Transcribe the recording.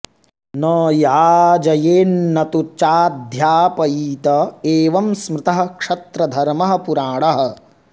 न याजयेन्न तु चाध्यापयीत एवं स्मृतः क्षत्रधर्मः पुराणः